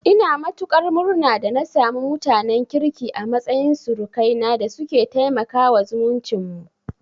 Ina matuƙar murna da na samu mutanen kirki a matsayin surukaina da suke taimakawa zumuncin mu.